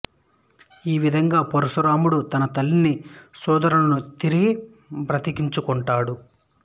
ఈ విధముగా పరశురాముడు తన తల్లిని సోదరులను తిరిగి బ్రతికించుకొంటాడు